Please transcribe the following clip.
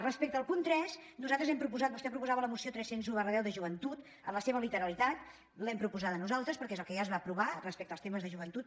respecte al punt tres nosaltres hem proposat vostè proposava la resolució tres cents i un x de joventut en la seva literalitat l’hem proposada nosaltres perquè és el que ja es va aprovar respecte als temes de joventut